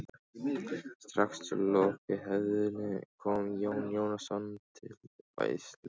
Strax að lokinni athöfninni kom Jón Jónsson til veislunnar.